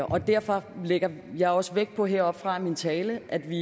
og derfor lægger jeg også vægt på heroppefra i min tale at vi